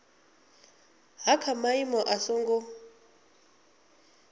ha kha maimo a songo